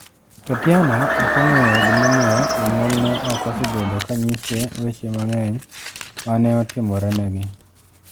Tatiana ok ong'eyo gimomiyo jonyuolne ok osebedo ka nyise weche mang'eny ma ne otimorenegi.